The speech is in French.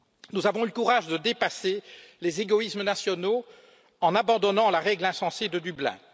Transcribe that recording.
Nous avons eu le courage de dépasser les égoïsmes nationaux en abandonnant la règle insensée de Dublin.